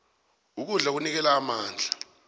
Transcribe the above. ukudla kunikela amandla